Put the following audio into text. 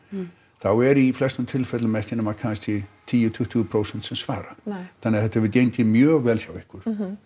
þá er í flestum tilfellum ekki nema tíu til tuttugu prósent sem svara þannig að þetta hefur gengið mjög vel hjá ykkur